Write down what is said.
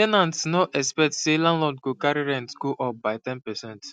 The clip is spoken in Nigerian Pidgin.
ten ants no expect say landlord go carry rent go up by ten percent